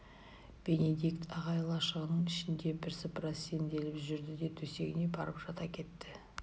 бенедикт ағай лашығының ішінде бірсыпыра сенделіп жүрді де төсегіне барып жата кетті